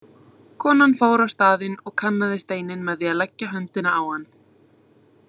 Konan fór á staðinn og kannaði steininn með því að leggja höndina á hann.